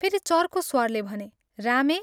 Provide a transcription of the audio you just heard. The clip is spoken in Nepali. " फेरि चर्को स्वरले भने " रामे!